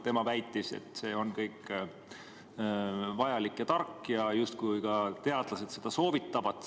Tema väitis, et see on kõik vajalik ja tark ning ka teadlased seda justkui soovitavad.